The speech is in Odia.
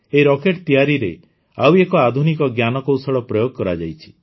ଏହି ରକେଟ୍ ତିଆରିରେ ଆଉ ଏକ ଆଧୁନିକ ଜ୍ଞାନକୌଶଳ ପ୍ରୟୋଗ କରାଯାଇଛି